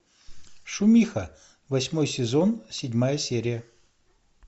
шумиха восьмой сезон седьмая серия